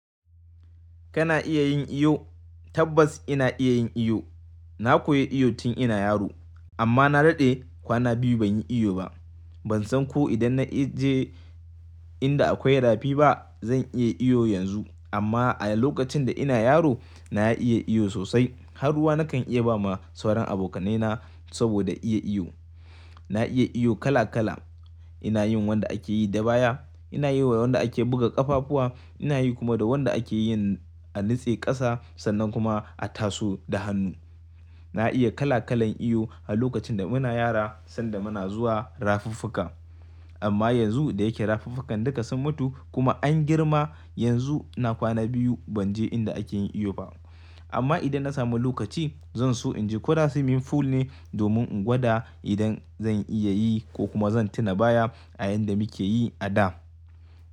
Kana iya yin iyo? Tabbas ina iya yin iyo. Na koyi iyo tun ina yaro amma na daɗe kwana biyu ban yi iyo ba. Ban san ko idan na je inda akwai rafi ba zan iya iyo yanzu. Amma a lokacin da ina yaro na iya iyo sosai, har ruwa na kan iya ba ma sauran abokaina saboda iya iyo. Na iya iyo kala kala. Ina yin wanda ake yi da baya, ina yi wa wanda ake buga ƙafafuwa, ina yi kuma da wanda ake yin a nutse ƙasa sannan kuma a taso da hannu. Na iya kala kalan iyo a lokacin da muna yara sanda muna zuwa rafiffuka. Amma yanzu da yake rafiffukan duka sun mutu kuma an girma, yanzu na kwana biyu ban je inda ake yin iyo ba. Amma idan na samu lokaci zan so in je koda swimming pool ne domin in gwada idan zan iya yi ko kuma zan tina baya a yanda muke yi a da.